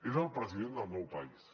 és el president del meu país